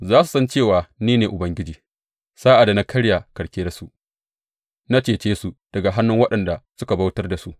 Za su san cewa ni ne Ubangiji, sa’ad da na karya karkiyarsu, na cece su daga hannun waɗanda suka bautar da su.